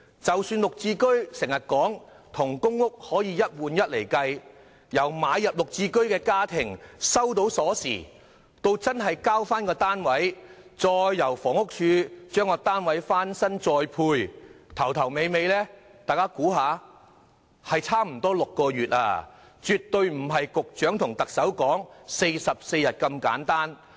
雖然政府當局經常說"綠置居"與公屋可以"一換一"，但是由購入"綠置居"家庭收到鎖匙到交回公屋單位，然後房屋署須為單位進行翻新再作分配，差不多需時6個月，絕非局長和特首所說的44天。